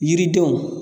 Yiridenw